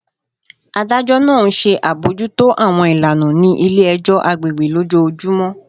Adajọ naa nṣe abojuto awọn ilana ni ile-ẹjọ agbegbe lojoojumọ